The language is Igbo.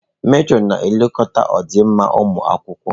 Metrọnụ na-elekọta ọdịmma ụmụ akwụkwọ.